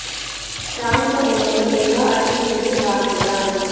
शाम को उन्होंने गंगा आरती में भी भाग लिया